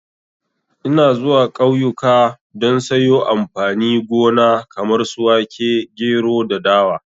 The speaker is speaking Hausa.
Ina zuwa kauyuka don sayo amfani gona kamar su wake, gero da dawa